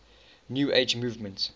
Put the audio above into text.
new age movement